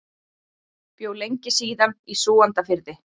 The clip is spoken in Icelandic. Bjó lengi síðan í Súgandafirði.